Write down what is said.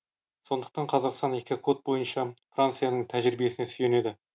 сондықтан қазақстан экокод бойынша францияның тәжірибесіне сүйенеді